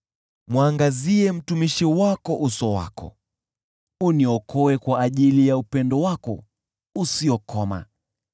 Mwangazie mtumishi wako uso wako, uniokoe kwa ajili ya upendo wako usiokoma.